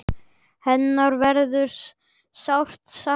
Hennar verður sárt saknað þar.